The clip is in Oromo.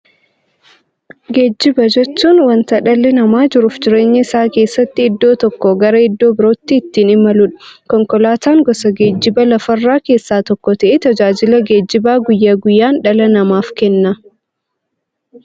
Geejjiba jechuun wanta dhalli namaa jiruuf jireenya isaa keessatti iddoo tokkoo gara iddoo birootti ittiin imaluudha. Konkolaatan gosa geejjibaa lafarraa keessaa tokko ta'ee, tajaajila geejjibaa guyyaa guyyaan dhala namaaf kenna.